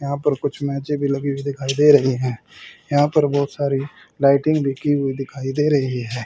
यहां पर कुछ मेजे भी लगी हुई दिखाई दे रही हैं यहां पर बहुत सारी लाइटिंग लिखी हुई दिखाई दे रही है।